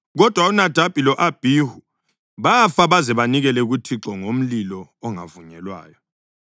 Kodwa uNadabi lo-Abhihu bafa baze banikele kuThixo ngomlilo ongavunyelwayo.)